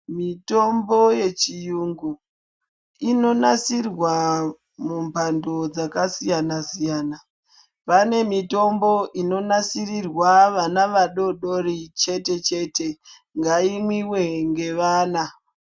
Mitombo yechiyungu ,inonasirwa mumphando dzakasiyana-siyana. Pane mitombo inonasirirwa vana vadodori chete-chete. Ngaimwiwe ngevana.